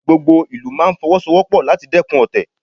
Gbogbo ìlú máa Fọwọ́sowọ́pọ̀ láti dẹ́kun ọ̀tẹ̀